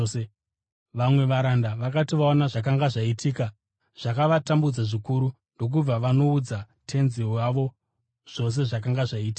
Vamwe varanda vakati vaona zvakanga zvaitika, zvakavatambudza zvikuru ndokubva vanoudza tenzi wavo zvose zvakanga zvaitika.